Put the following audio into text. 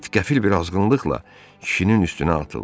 İt qəfil bir azğınlıqla kişinin üstünə atıldı.